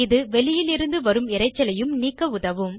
இது வெளியிலிருந்து வரும் இரைச்சலையும் நீக்க உதவும்